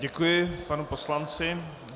Děkuji panu poslanci.